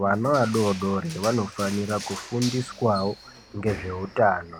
Vana vadoodori vanofanira kufundiswawo ngezveutano.